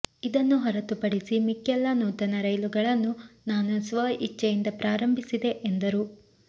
ಇದನ್ನು ಹೊರತುಪಡಿಸಿ ಮಿಕ್ಕೆಲ್ಲ ನೂತನ ರೈಲುಗಳನ್ನು ನಾನು ಸ್ವಇಚ್ಛೆಯಿಂದ ಪ್ರಾರಂಭಿಸಿದೆ ಎಂದರು